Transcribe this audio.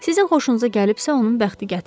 Sizin xoşunuza gəlibsə, onun bəxti gətirib.